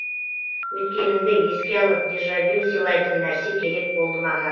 өткеніңді еске алып дежавю сыйлайтын нәрсе керек болды маған